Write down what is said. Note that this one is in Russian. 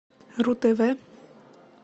ру тв